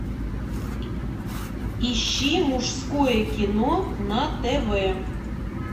ищи мужское кино на тв